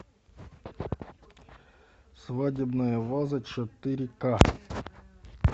свадебная ваза четыре ка